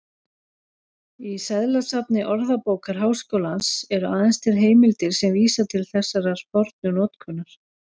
Í seðlasafni Orðabókar Háskólans eru aðeins til heimildir sem vísa til þessarar fornu notkunar.